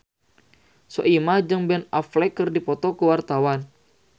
Soimah jeung Ben Affleck keur dipoto ku wartawan